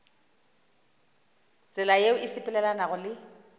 tsela yeo e sepelelanago le